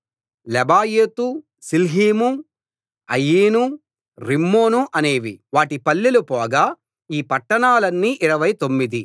Lebaoth Shilhim Ain Rimmon అనేవి వాటి పల్లెలు పోగా ఈ పట్టాణాలన్నీ ఇరవై తొమ్మిది